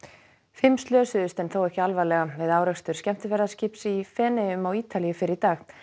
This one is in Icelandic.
fimm slösuðust en þó ekki alvarlega við árekstur skemmtiferðaskips í Feneyjum á Ítalíu fyrr í dag